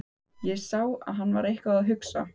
Ég sá að hann var eitthvað að hugsa.